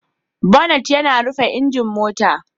Bonnet yana rufe injin mota.